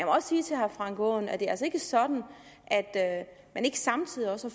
også sige til herre frank aaen at det altså ikke er sådan at man ikke samtidig også